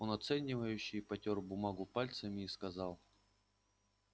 он оценивающе потёр бумагу пальцами и сказал